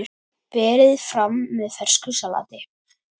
Berið fram með fersku salati.